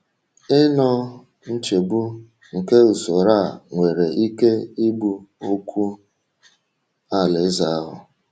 Ịnọ nchegbu um nke usoro a nwere ike igbu okwu Alaeze ahụ.